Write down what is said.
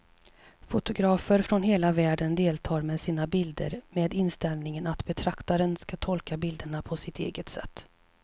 Fotografer från hela världen deltar med sina bilder med inställningen att betraktaren ska tolka bilderna på sitt eget sätt.